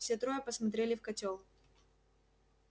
все трое посмотрели в котёл